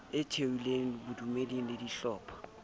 e thehilweng bodumeding le dihlopha